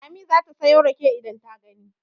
Lami za ta sayo rake idan ta gani.